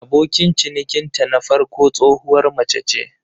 Abokin cinikinta na farko tsohuwar mace ce.